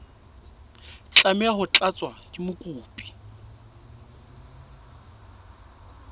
tlameha ho tlatswa ke mokopi